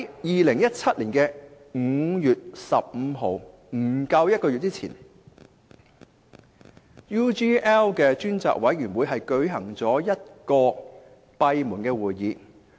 2017年5月15日，即不足1個月前，專責委員會舉行了1次閉門會議。